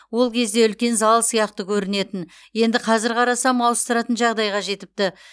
ол кезде үлкен зал сияқты көрінетін енді қазір қарасам ауыстыратын жағдайға жетіпті